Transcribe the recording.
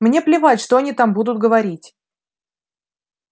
мне наплевать что они там будут говорить